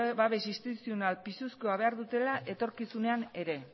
babes instituzional pisuzkoa behar dutela etorkizunean ere